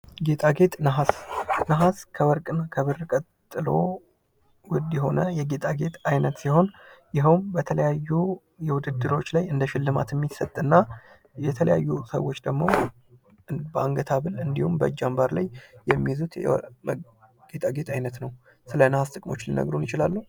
ጌጣጌጥ ነሀስ:- ነሀስ ከወርቅ እና ከብር ቀጥሎ ዉድ የሆነ የጌጤጌጥ አይነት ሲሆን ይኸዉም በተለያዩ ዉድድሮች ላይ እንደ ሽልማት የሚምጥና የተለያዩ ሰዎች ደግሞ በአንገህ ሀብል እንዲሁም በእጅ አምባር ላይ የሚይዙት የጌጣጌጥ አይነት ነዉ። ስለ ነሀስ ጥቅሞች ሊነግሩን ይችላሉ?